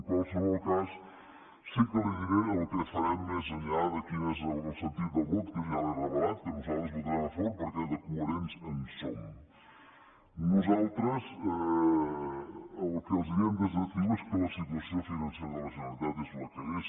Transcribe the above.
en qualsevol cas sí que li diré el que farem més enllà de quin és el sentit del vot que ja l’he revelat que nosaltres hi votarem a favor perquè de coherents en som nosaltres el que els diem des de ciu és que la situació financera de la generalitat és la que és